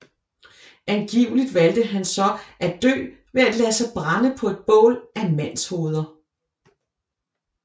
Angiveligt valgte han så at dø ved at lade sig brænde på et bål af mandshoveder